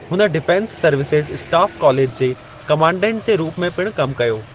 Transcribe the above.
हुन defence services staff college जे commandant जे रूप में पिणु कम कयो।